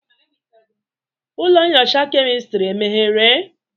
Ụlọ nyocha kemistri emeghere?